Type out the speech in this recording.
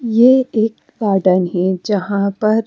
ये एक गार्डन है जहां पर--